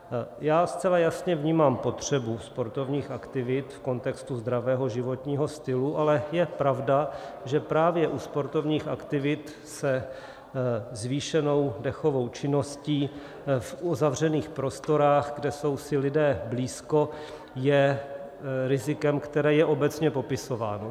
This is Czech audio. Já zcela jasně vnímám potřebu sportovních aktivit v kontextu zdravého životního stylu, ale je pravda, že právě u sportovních aktivit se zvýšenou dechovou činností v uzavřených prostorách, kde jsou si lidé blízko, je rizikem, které je obecně popisováno.